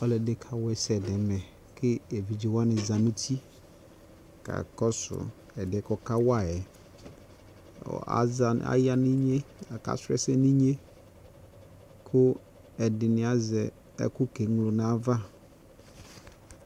Alɛde ne kawa asɛ nɛmɛ ko evidze wane za nuti ka kɔso ɛdeɛ kɔka wa yɛuɔ ɔza ne, aya nitnye ka srɔ asɛ ninye ko ɛde ne azɛ ɛku ke ñlo nava